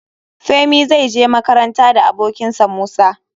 Femi zai je makaranta da abokin sa Musa.